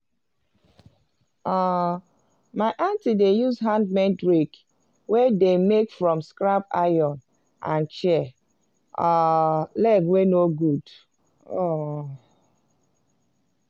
um my aunty dey use handmade rake wey dem make from scrap iron and chair um leg wey no good. um